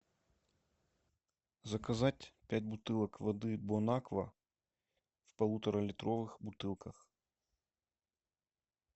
заказать пять бутылок воды бонаква в полуторалитровых бутылках